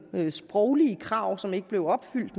sproglige krav som ikke blev opfyldt